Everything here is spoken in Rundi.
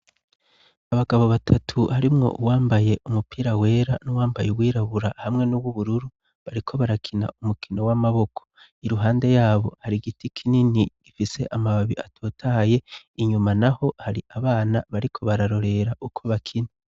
Abagabo batatu harimwo uwambaye umupira wera n'uwambaye uwirabura hamwe n'uw'ubururu, bariko barakina umukino w'amaboko. Iruhande ya bo hari giti kinini gifise amababi atotaye, inyuma naho hari abana bariko bararorera uko bakina.